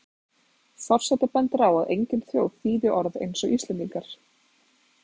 Forseti bendir á að engin þjóð þýði orð eins og Íslendingar.